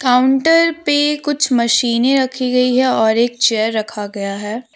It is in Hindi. काउंटर पे कुछ मशीनें रखी गई है और एक चेयर रखा गया है।